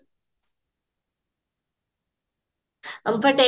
ଅଲଗା